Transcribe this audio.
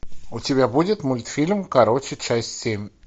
у тебя будет мультфильм короче часть семь